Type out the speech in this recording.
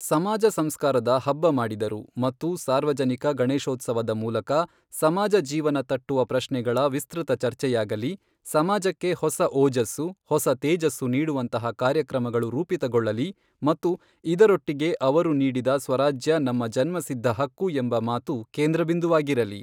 ಸಮಾಜ ಸಂಸ್ಕಾರದ ಹಬ್ಬ ಮಾಡಿದರು ಮತ್ತು ಸಾರ್ವಜನಿಕ ಗಣೇಶೋತ್ಸವದ ಮೂಲಕ, ಸಮಾಜ ಜೀವನ ತಟ್ಟುವ ಪ್ರಶ್ನೆಗಳ ವಿಸ್ತೃತ ಚರ್ಚೆಯಾಗಲಿ, ಸಮಾಜಕ್ಕೆ ಹೊಸ ಓಜಸ್ಸು, ಹೊಸ ತೇಜಸ್ಸು ನೀಡುವಂತಹ ಕಾರ್ಯಕ್ರಮಗಳು ರೂಪಿತಗೊಳ್ಳಲಿ ಮತ್ತು ಇದರೊಟ್ಟಿಗೆ ಅವರು ನೀಡಿದ ಸ್ವರಾಜ್ಯ ನಮ್ಮ ಜನ್ಮಸಿದ್ಧ ಹಕ್ಕು ಎಂಬ ಮಾತು ಕೇಂದ್ರ ಬಿಂದುವಾಗಿರಲಿ.